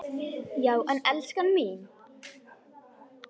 Já en elskan mín.